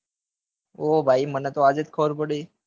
ઓ ભાઈ મને તો આજે જ ખબર પડી